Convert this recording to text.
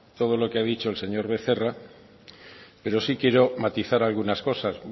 todo lo que ha dicho el señor becerra pero sí quiero matizar algunas cosas